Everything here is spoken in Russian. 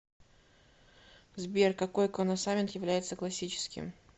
сбер какой коносамент является классическим